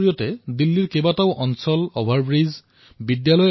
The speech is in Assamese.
বাটৰ কলাৰ মাধ্যমেৰে দিল্লীৰ বিভিন্ন অঞ্চলত সুন্দৰ পেইণ্টিঙেৰে সজোৱাৰ কাম কৰিছে